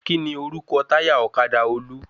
Kíni orúkọ táyà ọ̀kadà Olú?